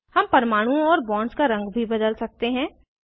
हम परमाणुओं और बॉन्ड्स का रंग भी बदल सकते हैं